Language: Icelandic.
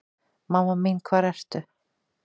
Mamma mín hvar ertu?